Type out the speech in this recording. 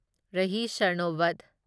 Rahi Sarnobat